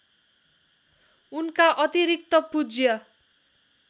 उनका अतिरिक्त पूज्य